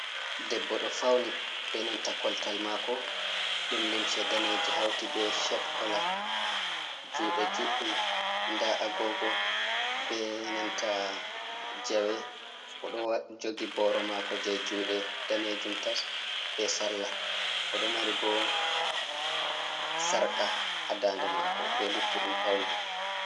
Debbo ɗo fauni be nanta koltal mako ɗum limse daneji hauti be shet kola juɗe juɗɗum nda Agogo be nanta Jawe o ɗo jogi Boro mako je juɗe danejum tas be Sarla o ɗo mari bo Sarka ha dande mako be luttuɗum paune.